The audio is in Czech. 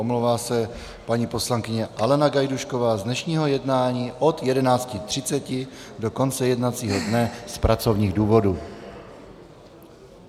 Omlouvá se paní poslankyně Alena Gajdůšková z dnešního jednání od 11.30 do konce jednacího dne z pracovních důvodů.